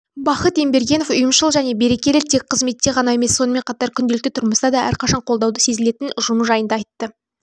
бахыт ембергенов ұйымшыл және берекелі тек қызметте ғана емес сонымен қатар күнделікті тұрмыста да әрқашан қолдау сезілетін ұжымы жайында айтты